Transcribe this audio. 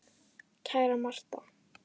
Kæra Martha.